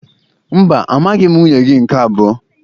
Mba, amaghị m nwunye gị nke abụọ